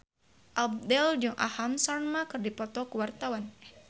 Abdel jeung Aham Sharma keur dipoto ku wartawan